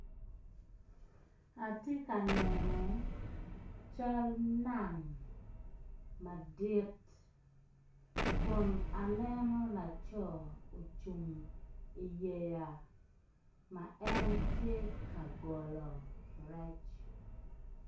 Atye ka neno cal nam madit kun aneno laco ocung i yeya ma en tye ka golo rec.